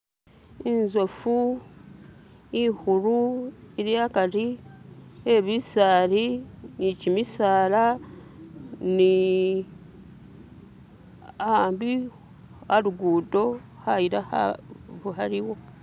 intsofu ikhulu iliakari ebisaali ni kimisala ni ambi aluguddo khaila khaliwo.